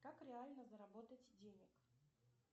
как реально заработать денег